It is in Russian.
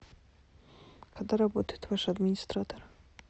когда работает ваш администратор